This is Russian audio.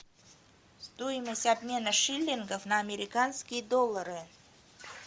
стоимость обмена шиллингов на американские доллары